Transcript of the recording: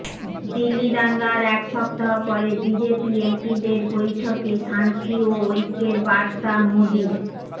দিল্লি দাঙ্গার এক সপ্তাহ পরে বিজেপি এমপিদের বৈঠকে শান্তি ও ঐক্যের বার্তা মোদীর